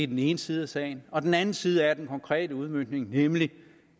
den ene side af sagen og den anden side af den konkrete udmøntning nemlig